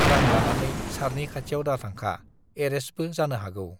रां लानानै सारनि खाथियाव दाथांखा, एरेस्टबो जानो हागौ।